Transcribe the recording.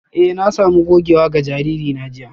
Eh na sami gogewa ga jariri na